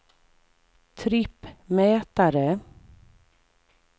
trippmätare